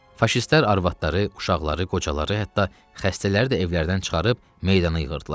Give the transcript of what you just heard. Faşistlər arvadları, uşaqları, qocaları, hətta xəstələri də evlərdən çıxarıb meydana yığırdılar.